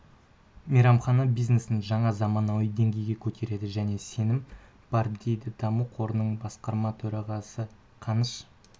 мейрамхана бизнесін жаңа заманауи деңгейге көтереді деген сенім бар дейді даму қорының басқарма төрағасы қаныш